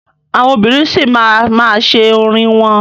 Àwọn obìnrin sì ma máa ṣe orin wọn.